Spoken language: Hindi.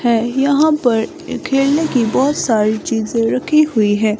है यहां पर खेलने की बहोत सारी चीजे रखी हुई है।